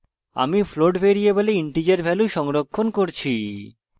আমি float ভ্যারিয়েবলে integer value সংরক্ষণ করছি